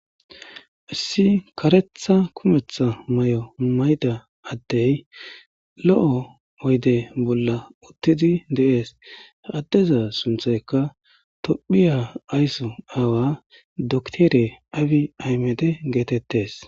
issi karetha kumetha may7o mmayda addey lo7o oyde bolla uttidi deees addeza sunthayka tophiya aysso aawa doktere aawi aymede geetettes